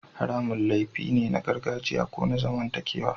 Haramun laifi ne na gargajiya ko na zamantakewa